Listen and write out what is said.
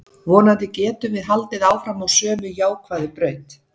Vonandi getum við haldið áfram á sömu jákvæðu braut.